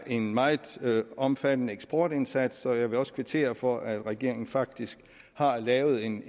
en meget omfattende eksportindsats og jeg vil også kvittere for at regeringen faktisk har lavet en